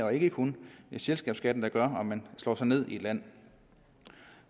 og ikke kun selskabsskatten der gør om man slår sig ned i et land